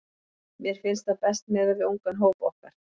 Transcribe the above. Mér finnst það best miðað við ungan hóp okkar.